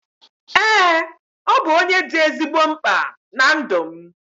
Eee, ọ bụ onye dị ezigbo mkpa na ndụ m